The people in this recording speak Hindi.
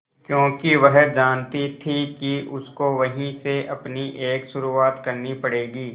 क्योंकि वह जानती थी कि उसको वहीं से अपनी एक शुरुआत करनी पड़ेगी